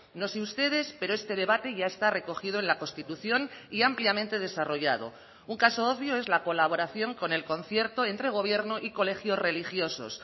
no sé ustedes pero este debate ya está recogido en la constitución y ampliamente desarrollado un caso obvio es la colaboración con el concierto entre gobierno y colegios religiosos